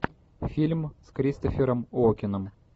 фильм с кристофером уокеном